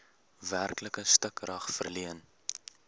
werklike stukrag verleen